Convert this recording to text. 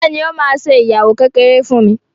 Fola ní o má ṣe ìyàwó kékeré fún mí.